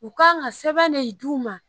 U kan ka sɛbɛn de d'u ma